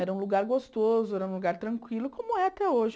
Era um lugar gostoso, era um lugar tranquilo, como é até hoje.